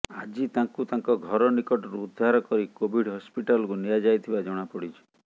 ଆଜି ତାଙ୍କୁ ତାଙ୍କ ଘର ନିକଟରୁ ଉଦ୍ଧାର କରି କୋଭିଡ ହସ୍ପିଟାଲକୁ ନିଆଯାଇଥିବା ଜଣାପଡିଛି